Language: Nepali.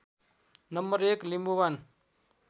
नम्बर १ लिम्बूवान